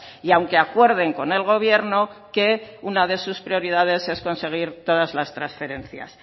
y aunque acuerden con el gobierno que una de sus prioridades es conseguir todas las transferencias